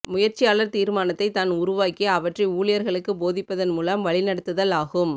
முயற்சியாளர் தீர்மானத்தை தான் உருவாக்கி அவற்றை ஊழியர்களுக்கு போதிப்பதன் மூலம் வழி நடத்துதல் ஆகும்